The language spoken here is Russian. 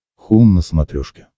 хоум на смотрешке